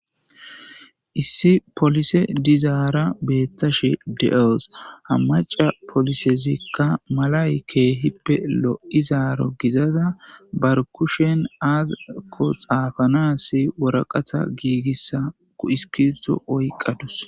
Issi polise dizaara beeththashe de7awus; ha macca polisezikka malay keehippe lo7izaaro gizaza bar kushen aazakko tsaafanaassi woraqatha giigissa iskiribththo oyqqa dawus.